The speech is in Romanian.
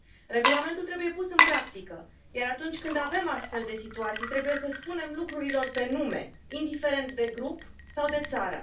Regulamentul trebuie pus în practică, iar atunci când avem astfel de situații, trebuie să spunem lucrurilor pe nume, indiferent de grup sau de țară.